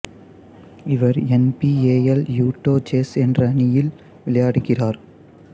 இவர் N B A இல் Utah Jazz என்ற அணியில் விளையாடுகிறார்